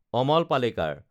আমল পালেকাৰ